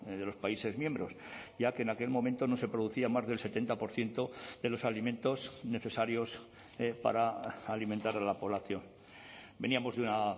de los países miembros ya que en aquel momento no se producía más del setenta por ciento de los alimentos necesarios para alimentar a la población veníamos de una